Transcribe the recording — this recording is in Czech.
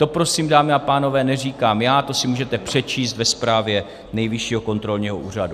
To prosím, dámy a pánové, neříkám já, to si můžete přečíst ve zprávě Nejvyššího kontrolního úřadu.